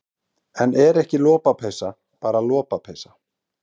En er ekki lopapeysa bara lopapeysa?